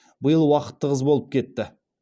биыл уақыт тығыз болып кетті